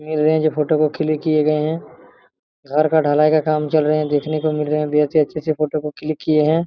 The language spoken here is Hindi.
रहे है जो फोटो को क्लिक किए हैं घर का ढलाई का काम चल रहे है देखने को मिल रहे हैं भी अच्छे-अच्छे फोटो को क्लिक किए हैं।